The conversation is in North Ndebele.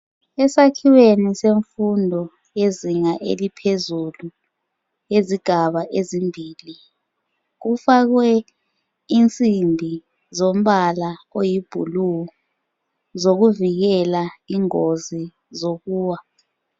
Esakhiweni semfundo yezinga eliphezulu ngezigaba ezimbili kufakwe insimbi zombala oyiblue zokuvikela ingozi zokuwa